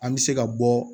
An bɛ se ka bɔ